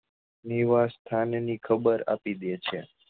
નિવાસસ્થાન ની ખબર આપી દે છે